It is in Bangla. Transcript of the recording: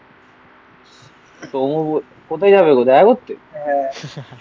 ঘুমোবো কোথায় যাবে গো? দেখা করতে? হ্যাঁ. নাকি?